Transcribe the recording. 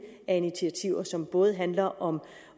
af initiativer som både handler om